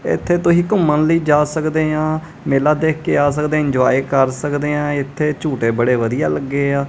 ਇਥੇ ਤੁਸੀ ਘੁੰਮਣ ਲਈ ਜਾ ਸਕਦੇ ਹਾਂ। ਮੇਲਾ ਦੇਖ ਕੇ ਆ ਸਕਦੇ ਇੰਜੋਏ ਕਰ ਸਕਦੇ ਆਂ ਇਥੇ ਝੂਟੇ ਬੜੇ ਵਧੀਆ ਲੱਗੇ ਆ।